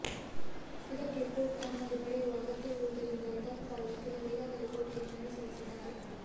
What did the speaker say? ಇದಕ್ಕೆ ಕೋರ್ಟ ಅನುಮತಿ ಪಡೆಯುವ ಅಗತ್ಯವಿರುವುದರಿಂದ ದತ್ ಪರ ವಕೀಲರು ಈಗಾಗಲೇ ಕೋರ್ಟಗೆ ಮನವಿ ಸಲ್ಲಿಸಿದ್ದಾರೆ